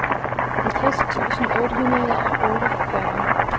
halvtreds tusind otte hundrede og otteogfyrre